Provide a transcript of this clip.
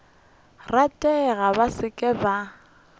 ratego ba se ke ba